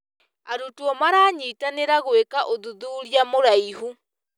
Arutwo maranyitanĩra gwĩka ũthuthuria mũraihu.